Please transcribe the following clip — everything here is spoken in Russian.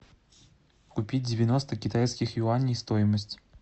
купить девяносто китайских юаней стоимость